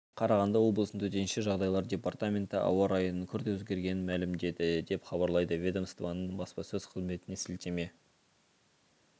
қарағанды облысының төтенше жағдайлар департаменті ауа райының күрт өзгергенін мәлімдеді деп хабарлайды ведомстваның бспасөз қызметіне сілтеме